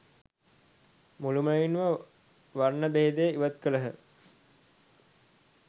මුළුමනින්ම වර්ණ භේදය ඉවත් කළහ.